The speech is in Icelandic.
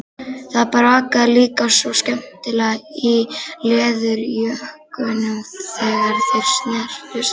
Það brakaði líka svo skemmtilega í leðurjökkunum þegar þeir snertust.